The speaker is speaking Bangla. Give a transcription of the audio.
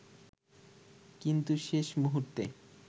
কিন্তু শেষ মুহুর্তে